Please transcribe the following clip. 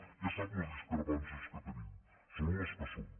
ja sap les discrepàncies que tenim són les que són